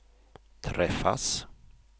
träffas